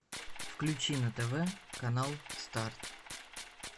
включи на тв канал старт